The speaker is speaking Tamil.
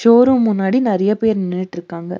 ஷோ ரூம் முன்னாடி நெறையா பேர் நின்னுட்ருக்காங்க.